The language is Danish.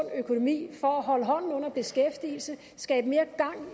økonomi for at holde hånden under beskæftigelsen skabe mere gang